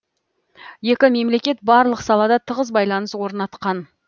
екі мемлекет барлық салада тығыз байланыс орнатқан